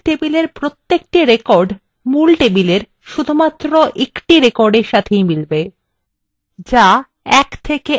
প্রাসঙ্গিক table প্রত্যেকটি record প্রধান table ঠিক একটি recordএর সাথেই মিলবে